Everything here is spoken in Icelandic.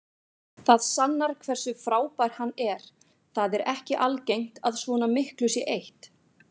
Það sannar hversu frábær hann er, það er ekki algengt að svona miklu sé eytt.